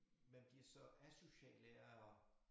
Man bliver så asocial af at